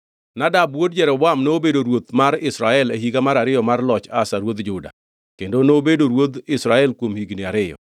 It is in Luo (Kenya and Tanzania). Nadab wuod Jeroboam nobedo ruoth mar Israel e higa mar ariyo mar loch Asa ruodh Juda, kendo nobedo ruodh Israel kuom higni ariyo.